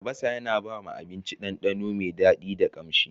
Albasa yana ba abinci dandano mai daɗi da ƙamshi.